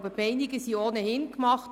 Die Meinungen sind ohnehin gemacht.